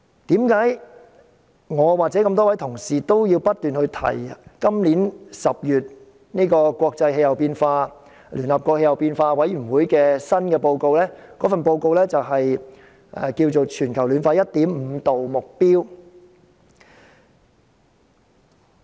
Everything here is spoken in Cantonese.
為何我與諸位同事不斷提及今年10月聯合國政府間氣候變化專門委員會公布的報告：《全球升溫 1.5°C 特別報告》？